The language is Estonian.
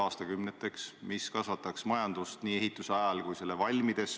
Aga seda, et selle tunneliga edasi minna ja täitsa tõsiselt analüüsidega edasi minna, jah, ma pean oluliseks.